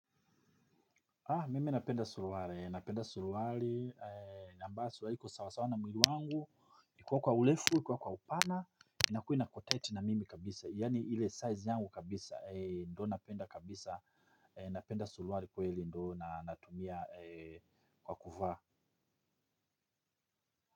Haa mimi napenda suruali, napenda suruali ambazo ziko sawasawa na mwili wangu kuwa kwa urefu kuwa kwa upana inakua iko tight sana na mimi kabisa yani ile size yangu kabisa ndo napenda kabisa napenda suruali kweli ndo natumia kwa kuvaa.